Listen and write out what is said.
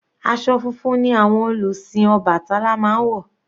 Aṣọ funfun ni àwọn olùsìn obatala máa ń wọ̀.